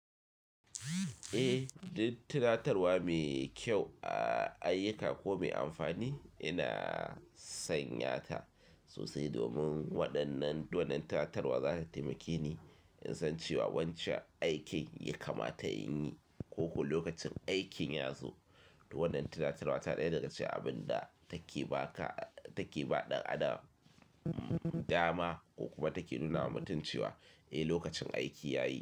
Eh, duk tunatarwa mai kyau a ayyuka ko mai amfani ina sanya ta sosai domin waɗannan, waɗannan tunatarwa za ta taimake ni in san cewa wancan aikin ya kama ta inyi ko ko lokacin aikin ya zo. To wannan tunatarwa ta ɗaya daga cikin abin da take ba ka, take ba ɗan adam dama ko kuma take nuna wa mutum cewa eh lokacin aiki ya yi.